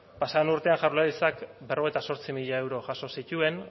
pasa den urtean jaurlaritzak berrogeita zortzi mila euro jaso zituen